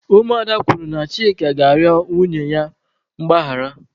Ụmụ ada kwuru na Chika ga-arịọ nwunye ya mgbaghara.